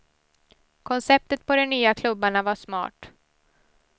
Konceptet på de nya klubbarna var smart.